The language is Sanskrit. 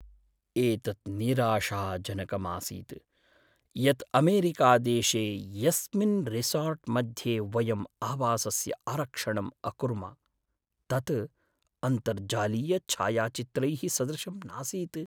एतत् निराशाजनकम् आसीत् यत् अमेरिकादेशे यस्मिन् रिसोर्ट्मध्ये वयं आवासस्य आरक्षणम् अकुर्म, तत् अन्तर्जालीयछायाचित्रैः सदृशं नासीत्।